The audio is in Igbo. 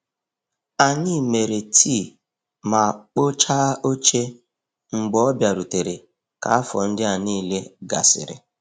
Anyị mere tii ma kpochaa oche mgbe ọ bịarutere ka afọ ndịa niile gasịrị.